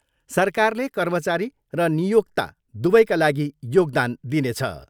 सरकारले कर्मचारी र नियोक्त दुवैका लागि योगदान दिनेछ।